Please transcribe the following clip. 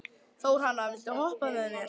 Þórhanna, viltu hoppa með mér?